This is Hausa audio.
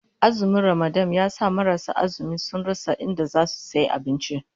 Azumin Ramadan ya sa marasu azumi sun rasa inda zasu sayi abinci